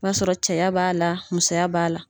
I b'a sɔrɔ caya b'a la musoya b'a la.